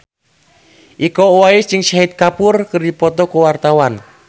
Iko Uwais jeung Shahid Kapoor keur dipoto ku wartawan